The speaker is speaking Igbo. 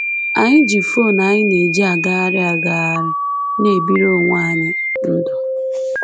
Anyị ji fon anyị na-eji agagharị agagharị na-ebiri onwe anyị ndụ.